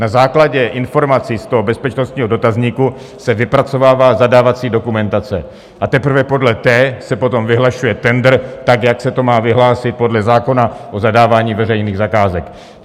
Na základě informací z toho bezpečnostního dotazníku se vypracovává zadávací dokumentace a teprve podle té se potom vyhlašuje tendr tak, jak se to má vyhlásit podle zákona o zadávání veřejných zakázek.